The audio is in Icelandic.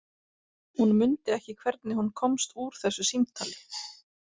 Hún mundi ekki hvernig hún komst úr þessu símtali.